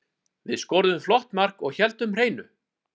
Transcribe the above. Við skoruðum flott mark og héldum hreinu.